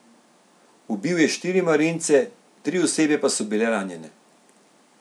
Ubil je štiri marince, tri osebe pa so bile ranjene.